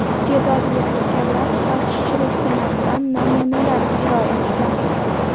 Iste’dodli askarlar baxshichilik san’atidan namunalar ijro etdi.